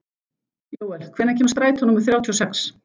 Jóel, hvenær kemur strætó númer þrjátíu og sex?